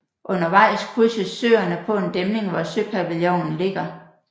Undervejs krydses Søerne på en dæmning hvor Søpavillonen ligger